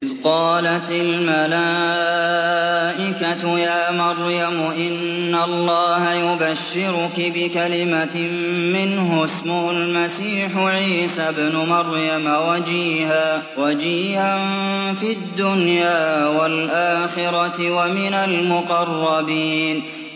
إِذْ قَالَتِ الْمَلَائِكَةُ يَا مَرْيَمُ إِنَّ اللَّهَ يُبَشِّرُكِ بِكَلِمَةٍ مِّنْهُ اسْمُهُ الْمَسِيحُ عِيسَى ابْنُ مَرْيَمَ وَجِيهًا فِي الدُّنْيَا وَالْآخِرَةِ وَمِنَ الْمُقَرَّبِينَ